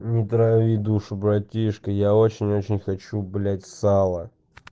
не трави душу братишка я очень очень хочу блять сало